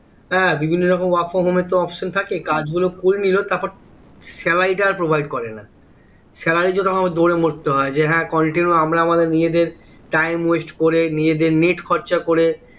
এর বিভিন্ন রকম work from home এর তো option থাকে হম কাজ গুলো করেনিলো তারপর salary টা আর provide করে না salary এর জন্য তখন দৌড়ে মরতে হয় যে হ্যাঁ continue আমরা আমাদের নিজেদের time waste করে নিজেদের net খরচা করে